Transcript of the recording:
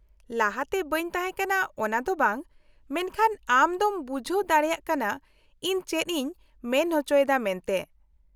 -ᱞᱟᱦᱟᱛᱮ ᱵᱟᱹᱧ ᱛᱟᱦᱮᱸᱠᱟᱱᱟ ᱚᱱᱟ ᱫᱚ ᱵᱟᱝ, ᱢᱮᱱᱠᱷᱟᱱ ᱟᱢ ᱫᱚᱢ ᱵᱩᱡᱷᱟᱹᱣ ᱫᱟᱲᱮᱭᱟᱜ ᱠᱟᱱᱟ ᱤᱧ ᱪᱮᱫ ᱤᱧ ᱢᱮᱱ ᱚᱪᱚᱭᱮᱫᱟ ᱢᱮᱱᱛᱮ ᱾